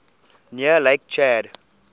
near lake chad